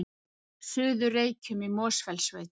Suður-Reykjum í Mosfellssveit.